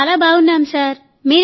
మేం చాలా బాగున్నాం సార్